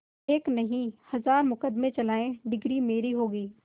एक नहीं हजार मुकदमें चलाएं डिगरी मेरी होगी